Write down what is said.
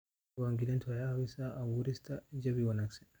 Diiwaangelintu waxay caawisaa abuurista jawi wanaagsan.